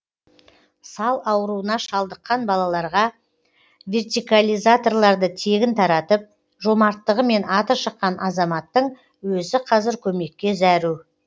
сал ауруына шалдыққан балаларға вертикализаторларды тегін таратып жомарттығымен аты шыққан азаматтың өзі қазір көмекке зәру